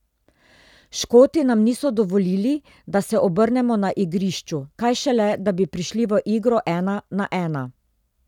Škoti nam niso dovolili, da se obrnemo na igrišču, kaj šele, da bi prišli v igro ena na ena.